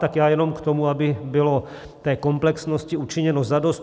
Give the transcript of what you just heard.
Tak já jenom k tomu, aby bylo té komplexnosti učiněno zadost.